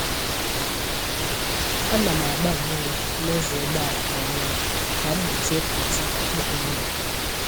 A na m agba mmiri n’ụzọ ụgbọala kwa ọnwa ka m gbochie pọtị ịkpụkọ ọnụ